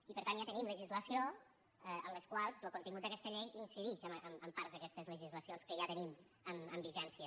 i per tant ja tenim legislacions en les quals lo contingut d’aquesta llei incidix en parts d’aquestes legislacions que ja tenim amb vigència